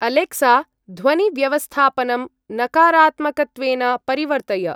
Alexa! ध्वनिव्यवस्थापनं नकारात्मकत्वेन परिवर्तय।